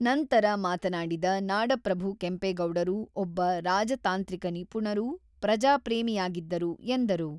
ನಂತರ ಮಾತನಾಡಿದ ನಾಡಪ್ರಭು ಕೆಂಪೇಗೌಡರು ಒಬ್ಬ ರಾಜತಾಂತ್ರಿಕ ನಿಪುಣರೂ, ಪ್ರಜಾ ಪ್ರೇಮಿಯಾಗಿದ್ದರು ಎಂದರು.